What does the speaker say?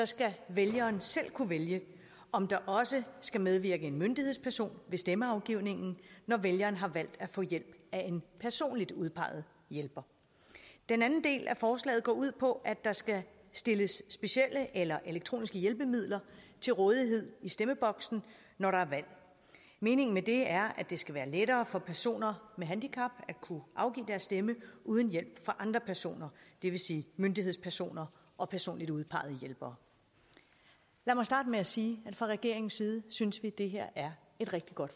skal vælgeren selv kunne vælge om der også skal medvirke en myndighedsperson ved stemmeafgivningen når vælgeren har valgt at få hjælp af en personligt udpeget hjælper den anden del af forslaget går ud på at der skal stilles specielle eller elektroniske hjælpemidler til rådighed i stemmeboksen når der er valg meningen med det er at det skal være lettere for personer med handicap at kunne afgive deres stemme uden hjælp fra andre personer det vil sige myndighedspersoner og personligt udpegede hjælpere lad mig starte med at sige at fra regeringens side synes vi at det her er et rigtig godt